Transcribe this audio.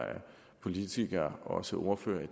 politikere også ordførere